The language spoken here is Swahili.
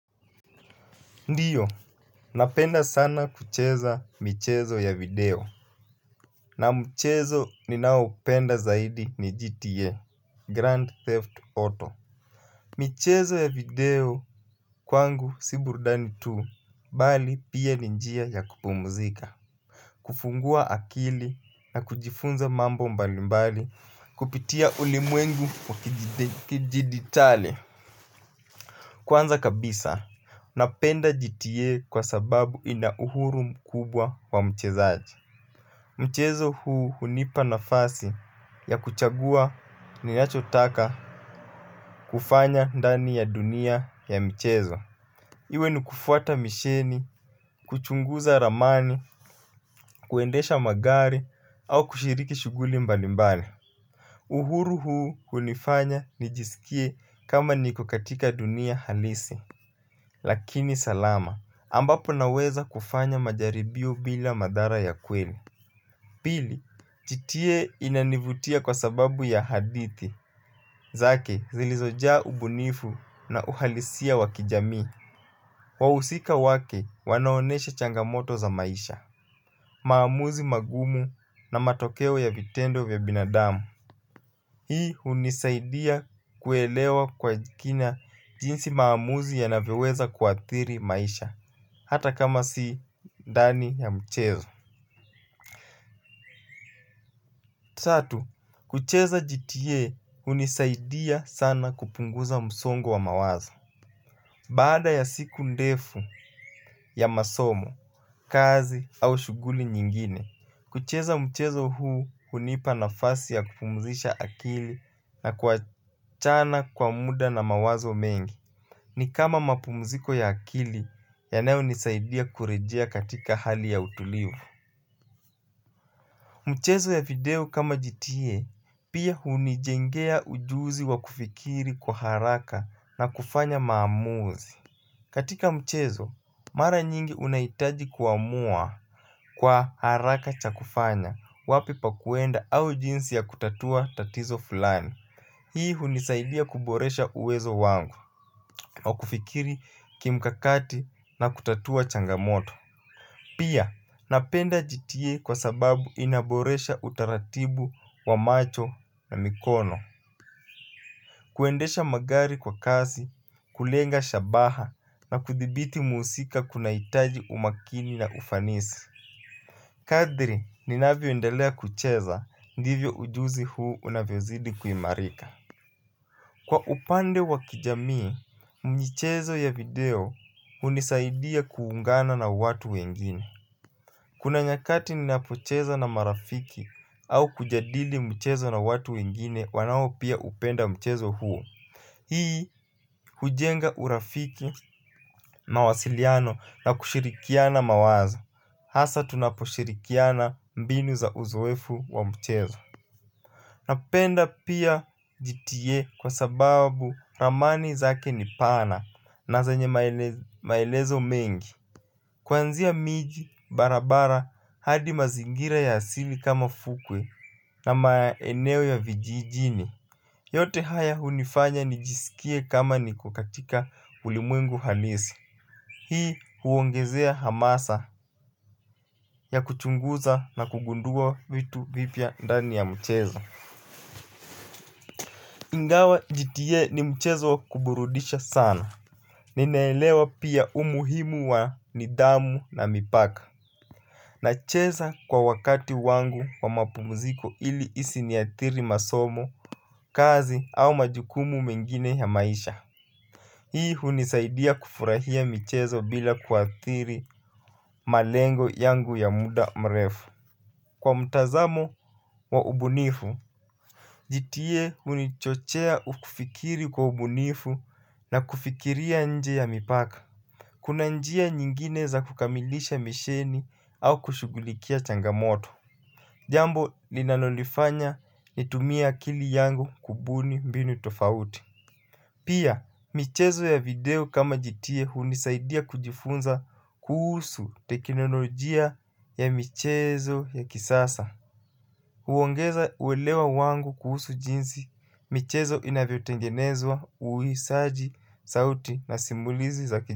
Ndio, napenda sana kucheza michezo ya video. Na michezo ni naopenda zaidi ni GTA, Grand Theft Auto. Michezo ya video kwangu si burudani tu, bali pia ni njia ya kupumzika. Kufungua akili na kujifunza mambo mbalimbali kupitia ulimwengu wakidijitali. Kwanza kabisa, napenda GTA kwa sababu ina uhuru mkubwa wa mchezaji. Mchezo huu hunipa nafasi ya kuchagua ninachotaka kufanya ndani ya dunia ya mchezo. Iwe ni kufuata misheni, kuchunguza ramani, kuendesha magari au kushiriki shughuli mbalimbali. Uhuru huu hunifanya nijisikie kama niko katika dunia halisi lakini salama, ambapo naweza kufanya majaribio bila madhara ya kweli. Pili, GTA inanivutia kwa sababu ya hadithi zake zilizojaa ubunifu na uhalisia wa kijamii. Wahusika wake wanaonesha changamoto za maisha, maamuzi magumu na matokeo ya vitendo vya binadamu. Hii hunisaidia kuelewa kwa kina jinsi maamuzi yanavyoweza kuathiri maisha hata kama si ndani ya mchezo. Tatu, kucheza GTA hunisaidia sana kupunguza msongo wa mawazo. Baada ya siku ndefu ya masomo, kazi au shughuli nyingine kucheza mchezo huu hunipa nafasi ya kupumzisha akili na kuachana kwa muda na mawazo mengi. Ni kama mapumziko ya akili yanayonisaidia kurejea katika hali ya utulivu. Mchezo ya video kama GTA pia hunijengea ujuzi wa kufikiri kwa haraka na kufanya maamuzi. Katika mchezo, mara nyingi unahitaji kuamua kwa haraka cha kufanya, wapi pa kuenda au jinsi ya kutatua tatizo fulani. Hii hunisaidia kuboresha uwezo wangu wa kufikiri kimkakati na kutatua changamoto. Pia, napenda GTA kwa sababu inaboresha utaratibu wa macho na mikono. Kuendesha magari kwa kasi, kulenga shabaha na kudhibiti muhusika kunahitaji umakini na ufanisi. Kadri, ninavyoendelea kucheza, ndivyo ujuzi huu unavyozidi kuimarika. Kwa upande wa kijamii, michezo ya video hunisaidia kuungana na watu wengine. Kuna nyakati ninapocheza na marafiki au kujadili mchezo na watu wengine wanao pia upenda mchezo huo. Hii hujenga urafiki, mawasiliano na kushirikiana mawazo. Hasa tunaposhirikiana mbinu za uzoefu wa mchezo. Napenda pia GTA kwa sababu ramani zake ni pana na zanye maelezo mengi. Kuanzia miji, barabara hadi mazingira ya asili kama fukwe na maeneo ya vijijini. Yote haya hunifanya nijisikie kama niko katika ulimwengu halisi hii huongezea hamasa ya kuchunguza na kugundua vitu vipya ndani ya mchezo Ingawa GTA ni mchezo kuburudisha sana ninaelewa pia umuhimu wa nidhamu na mipaka. Nacheza kwa wakati wangu wa mapumziko ili isi niathiri masomo, kazi au majukumu mengine ya maisha. Hii hunisaidia kufurahia michezo bila kuathiri malengo yangu ya muda mrefu. Kwa mtazamo wa ubunifu GTA hunichochea kufikiri kwa ubunifu na kufikiria nje ya mipaka. Kuna njia nyingine za kukamilisha misheni au kushughulikia changamoto. Jambo linalonifanya nitumie akili yangu kubuni mbinu tofauti. Pia, michezo ya video kama GTA hunisaidia kujifunza kuhusu teknolojia ya michezo ya kisasa. Huongeza uelewa wangu kuhusu jinsi, michezo inavyotengenezwa, uhisaji, sauti na simulizi za ki.